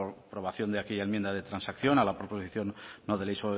aprobación de aquella enmienda de transacción a la proposición no de ley